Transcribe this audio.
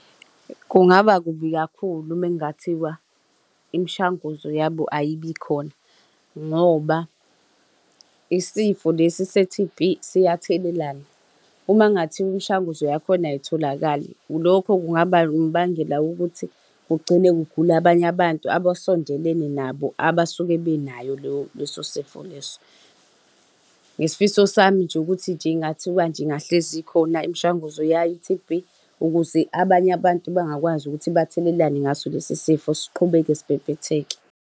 Kungaba kubi kakhulu uma kungathiwa imishanguzo yabo ayibikhona ngoba isifo lesi se-T_B siyathelelana. Uma kungathiwa imishanguzo yakhona ayitholakali, lokho kungaba umbangela wokuthi kugcine kugula abanye abantu abasondelene nabo abasuke benayo leyo, leso sifo leso. Ngesifiso sami nje ukuthi nje kungathiwa nje ingahlezi ikhona imishanguzo yayo i-T_B ukuze abanye abantu bangakwazi ukuthi bathelelane ngaso lesi sifo siqhubeke sibhebhetheke.